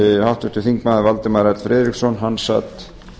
háttvirtur þingmaður valdimar l friðriksson sat